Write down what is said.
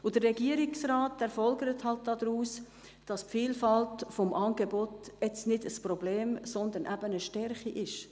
Der Regierungsrat folgert daraus, dass die Vielfalt des Angebots nicht ein Problem, sondern eine Stärke ist.